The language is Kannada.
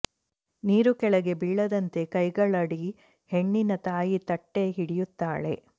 ನೀರು ಕೆಳಗೆ ಬೀಳದಂತೆ ಕೈಗಳಡಿ ಹೆಣ್ಣಿನ ತಾಯಿ ತಟ್ಟೆ ಹಿಡಿಯುತ್ತಾಳೆ